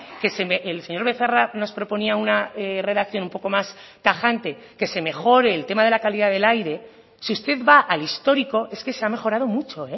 que el señor becerra nos proponía una redacción un poco más tajante que se mejore el tema de la calidad del aire si usted va al histórico es que se ha mejorado mucho